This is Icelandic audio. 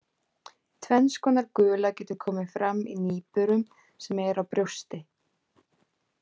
Tvenns konar gula getur komið fram í nýburum sem eru á brjósti.